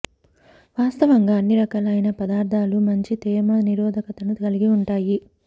వాస్తవంగా అన్ని రకాలైన పదార్థాలు మంచి తేమ నిరోధకతను కలిగి ఉంటాయి